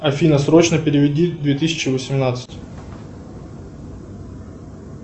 афина срочно переведи две тысячи восемнадцать